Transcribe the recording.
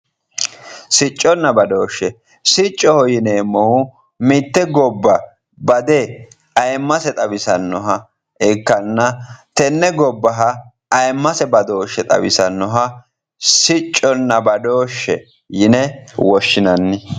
Sicconna badooshshe siccoho yineemmohu mitte gobba bade ayemmmase xawisannoha ikkanna tenne gobbaha ayeemmase badooshshe xawisannoha sicconna badooshshe yine woshshinanni